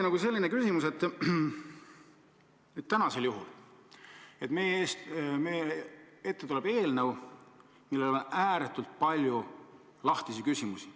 Täna tuleb meie ette eelnõu, millega on seotud ääretult palju lahtisi küsimusi.